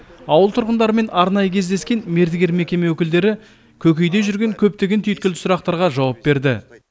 ауыл тұрғындарымен арнайы кездескен мердігер мекеме өкілдері көкейде жүрген көптеген түйткілді сұрақтарға жауап берді